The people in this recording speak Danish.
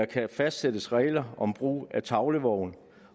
kan fastsættes regler om brug af tavlevogn